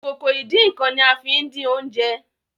Ìkòkò ìdín-nǹkan ní a fín dín oúnjẹ